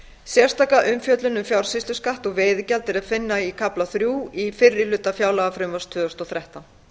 sérstaka umfjöllun um fjársýsluskatt og veiðigjald er að finna í kafla þrjú í fyrri hluta fjárlagafrumvarps tvö þúsund og þrettán